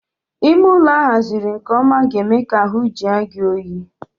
Ime ụlọ a haziri nke ọma ga-eme ka ahu jue gị oyi